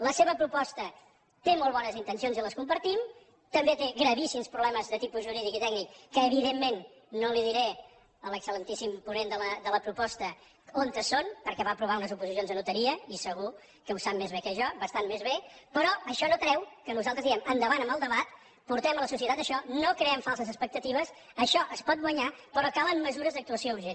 la seva proposta té molt bones intencions i les compartim també té gravíssims problemes de tipus jurídic i tècnic que evidentment no diré a l’excel·lentíssim ponent de la proposta on són perquè va aprovar unes oposicions a notaria i segur que ho sap més bé que jo bastant més bé però això no treu que nosaltres diguem endavant amb el debat portem a la societat això no creem falses expectatives això es pot guanyar però calen mesures d’actuació urgent